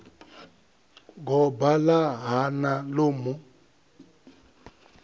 goba ḽa hana ḽo mu